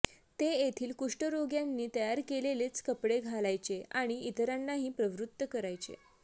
ते येथील कुष्ठरोग्यांनी तयार केलेलेच कपडे घालायचे आणि इतरांनाही प्रवृत्त करायचे